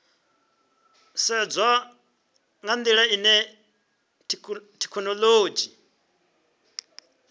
sedzwa nga ndila ine thekhinolodzhi